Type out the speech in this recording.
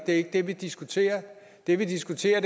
er ikke det vi diskuterer det vi diskuterer